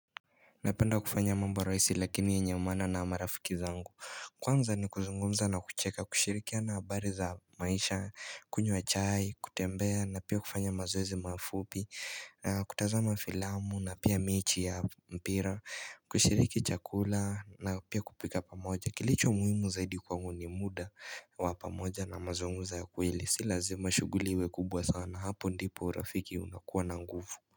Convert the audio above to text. Napenda kufanya mambo rahisi lakini ya nyamana na marafiki zangu Kwanza ni kuzungumza na kucheka kushirikia na habari za maisha kunywa chai kutembea na pia kufanya mazoezi mafupi na kutazama filamu na pia mechi ya mpira kushiriki chakula na pia kupika pamoja kilicho muhimu zaidi kwangu ni muda wa pamoja na mazunguza ya kweli si lazima shughuli iwe kubwa sana hapo ndipo urafiki unakuwa na nguvu.